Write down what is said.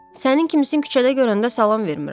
Sənin kimisini küçədə görəndə salam vermirəm.